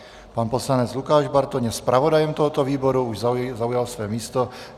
Pan poslanec Lukáš Bartoň je zpravodajem tohoto výboru, už zaujal své místo.